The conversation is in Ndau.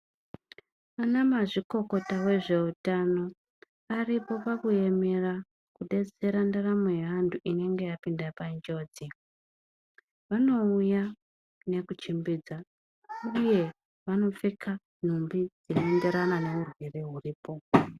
Ana vamazvikokota vezve utano varipakuemera nekudetsera ndaramo yevanenge vapinda munjodzi vanouya nekuchembedza uye vanopfeka nhumbi dzinoenderana nezvirwere zviripo .